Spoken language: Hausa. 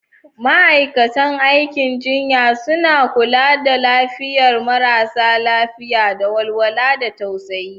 Ma'aikatan aikin jinya suna kula da lafiyar marasa lafiya da walwala da tausayi.